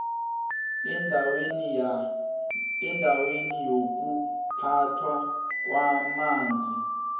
indawo yokuphathwa kwamanzi